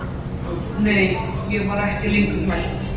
Nei, ég var ekki lengur hrædd.